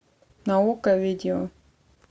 на окко видео